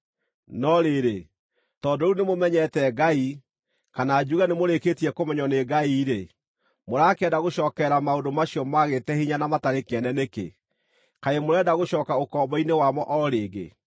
No rĩrĩ, tondũ rĩu nĩmũmenyete Ngai, kana njuge nĩmũrĩkĩtie kũmenywo nĩ Ngai-rĩ, mũrakĩenda gũcookerera maũndũ macio maagĩte hinya na matarĩ kĩene nĩkĩ? Kaĩ mũrenda gũcooka ũkombo-inĩ wamo o rĩngĩ?